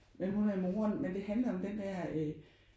Men hun er moren men det handler om den der øh